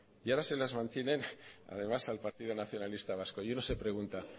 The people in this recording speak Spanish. y ahora se las mantienen además al partido nacionalista vasco y uno se pregunta